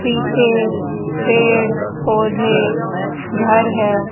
पीछे पेड़ पौधे घर है।